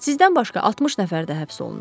Sizdən başqa 60 nəfər də həbs olunub.